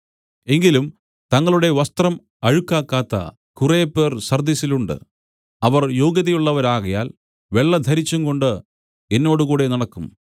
എങ്കിലും തങ്ങളുടെ വസ്ത്രം അഴുക്കാക്കാത്ത കുറെ പേർ സർദ്ദിസിലുണ്ട് അവർ യോഗ്യതയുള്ളവരാകയാൽ വെള്ളധരിച്ചുംകൊണ്ട് എന്നോടുകൂടെ നടക്കും